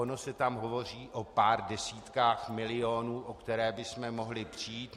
Ono se tam hovoří o pár desítkách milionů, o které bychom mohli přijít.